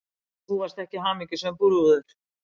Þú varst ekki hamingjusöm brúður.